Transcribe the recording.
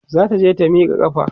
zata je ta Mika ƙafa